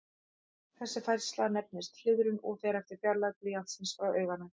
Þessi færsla nefnist hliðrun og fer eftir fjarlægð blýantsins frá auganu.